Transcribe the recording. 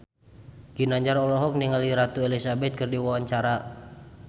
Ginanjar olohok ningali Ratu Elizabeth keur diwawancara